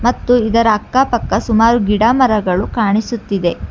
ಮತ್ತು ಇದರ ಅಕ್ಕಪಕ್ಕ ಸುಮಾರು ಗಿಡಮರಗಳು ಕಾಣಿಸುತ್ತಿದೆ.